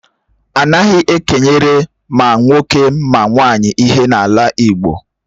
Anaghị e kenyere ma nwoke ma nwaanyị ihe n'ala Igbo.